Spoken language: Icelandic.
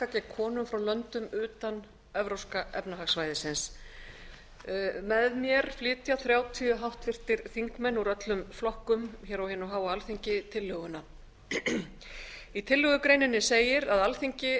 gegn konum frá löndum utan evrópska efnahagssvæðisins með mér flytja þrjátíu háttvirtir þingmenn úr öllum flokkum hér á hinu háa alþingi tillöguna í tillögugreininni segir að alþingi